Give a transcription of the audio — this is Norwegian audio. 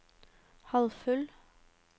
halvfull